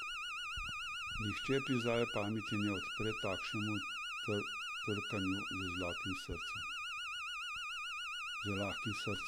Nihče pri zdravi pameti ne odpre takšnemu trkanju z lahkim srcem.